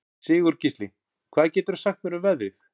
Sigurgísli, hvað geturðu sagt mér um veðrið?